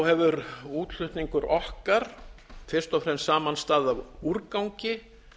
hefur útflutningur okkar fyrst og fremst samanstaðið af úrgangi